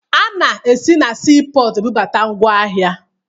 A na-esi na siipọọtụ ebubata ngwaahịa